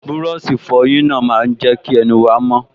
Búrọ̀sì ìfọyín náà máa n jẹ́ kí ẹnu wa mọ́